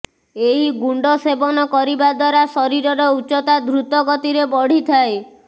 ଏହି ଗୁଣ୍ଡ ସେବନ କରିବା ଦ୍ବାରା ଶରୀରର ଉଚ୍ଚତା ଦ୍ରୁତଗତିରେ ବଢ଼ିଥାଏ